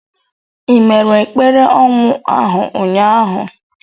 Ị mere ekpere ọnwụ ahụ ụnyahụ?